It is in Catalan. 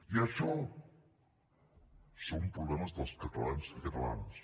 i això són problemes dels catalans i catalanes